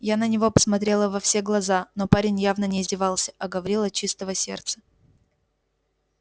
я на него посмотрела во все глаза но парень явно не издевался а говорил от чистого сердца